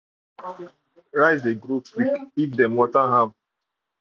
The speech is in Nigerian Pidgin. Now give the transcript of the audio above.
rice dey grow quick if dem dey water am.